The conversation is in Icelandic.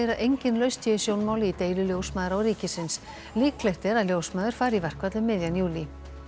engin lausn sé í sjónmáli í deilu ljósmæðra og ríkisins líklegt er að ljósmæður fari í verkfall um miðjan júlí